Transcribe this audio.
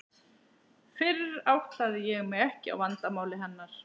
Fyrr áttaði ég mig ekki á vandamáli hennar.